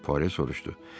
Pore soruşdu.